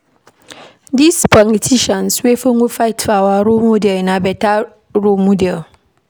Dose politicians wey folo fight for our freedom na beta role models.